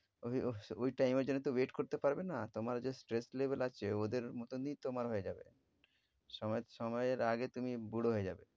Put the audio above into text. ওরে ওহ~ ঐ time এর জন্যে তো wait করতে পারবে না। তোমার যে stress level আছে ওদের মতনই তোমার হয়ে যাবে। সময়~ সময়ের আগে তুমি বুড়ো হয়ে যাবে।